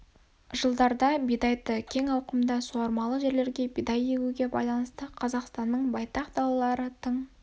жылдарда бидайды кең ауқымда суармалы жерлерге бидай егуге байланысты қазақстанның байтақ далалары тың